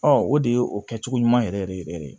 Ɔ o de ye o kɛcogo ɲuman yɛrɛ yɛrɛ yɛrɛ yɛrɛ